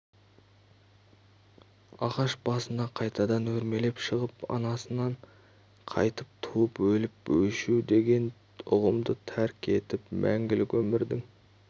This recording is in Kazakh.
ағаш басына қайтадан өрмелеп шығып анасынан қайта туып өліп-өшу деген ұғымды тәрк етіп мәңгілік өмірдің